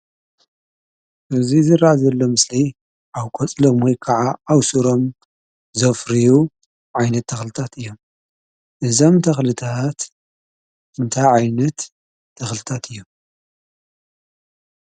እዚ ዝረአ ዘሎ ኣብ ምስሊ ኣብ ቆፅሎም ወይ ከዓ ኣብ ስሮም ዘፍርዩ ዓይነታት ተኽልታት እዮም፡፡ እዞም ተኽልታት እንታይ ዓይነት ተኽልታት እዮም?